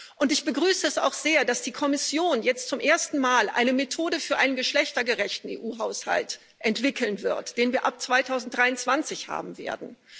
Und ich begrüße es auch sehr, dass die Kommission jetzt zum ersten Mal eine Methode für einen geschlechtergerechten EU-Haushalt entwickeln wird, den wir ab 2023 haben werden.